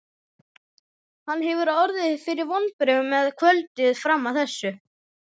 Hann hefur orðið fyrir vonbrigðum með kvöldið fram að þessu.